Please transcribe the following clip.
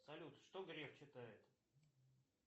салют что греф читает